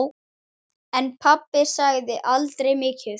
En pabbi sagði aldrei mikið.